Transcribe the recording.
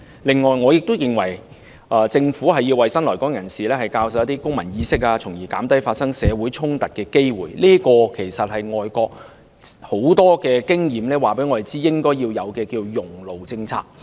另外，我亦認為政府要為新來港人士教授公民意識，從而減低發生社會衝突的機會，這其實是外國很多經驗告訴我們，應該要設有"熔爐政策"。